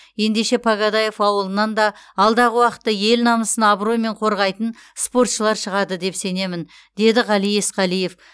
ендеше погодаев ауылынан да алдағы уақытта ел намысын абыроймен қорғайтын спортшылар шығады деп сенемін деді ғали есқалиев